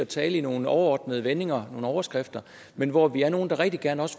tale i nogle overordnede vendinger i nogle overskrifter men hvor vi også er nogle der rigtig gerne